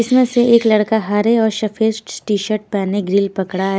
इसमें से एक लड़का हरे और सफेद टी शर्ट पहने ग्रिल पकड़ा--